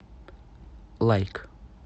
лайк